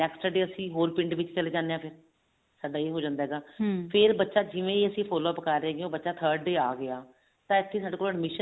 next day ਅਸੀਂ ਹੋਰ ਪਿੰਡ ਦੇ ਵਿੱਚ ਚਲੇ ਜਾਂਦੇ ਹਾਂ ਫ਼ੇਰ ਸਾਡਾ ਇਹ ਹੋ ਜਾਂਦਾ ਹੈਗਾ ਬੱਚਾ ਜਿਵੇਂ ਹੀ ਅਸੀਂ follow up ਕਰ ਰਹੇ ਹੋਗੇ ਹਾਂ ਬੱਚਾ third day ਆ ਗਿਆ ਤਾਂ ਇੱਥੇ ਸਾਡੇ ਕੋਲ admission